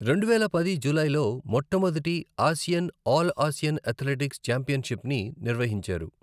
రెండువేల పది జూలైలో, మొట్టమొదటి ఆసియన్ ఆల్ ఆసియన్ అథ్లెటిక్స్ ఛాంపియన్షిప్ని నిర్వహించారు.